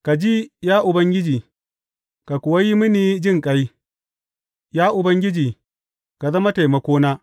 Ka ji, ya Ubangiji, ka kuwa yi mini jinƙai; Ya Ubangiji, ka zama taimakona.